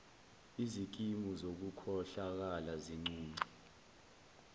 izikimu zokukhohlakala zincunce